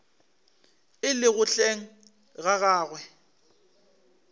e lego hleng ga gagwe